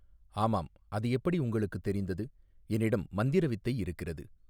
ஆமாம் அது எப்படி உங்களுக்குத் தெரிந்தது என்னிடம் மந்திர வித்தை இருக்கிறது.